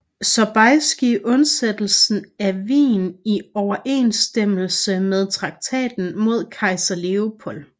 Sobieski undsættelsen af Wien i overensstemmelse med traktaten med kejser Lepold